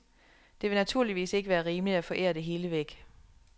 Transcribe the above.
Det vil naturligvis ikke være rimeligt at forære det hele væk.